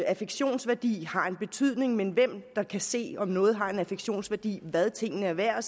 affektionsværdi har en betydning men hvem der kan se om noget har en affektionsværdi hvad tingene er værd